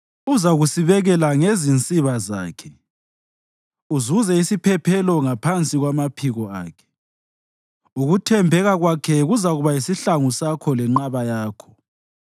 Uzakusibekela ngezinsiba zakhe, uzuze isiphephelo ngaphansi kwamaphiko akhe; ukuthembeka kwakhe kuzakuba yisihlangu sakho lenqaba yakho.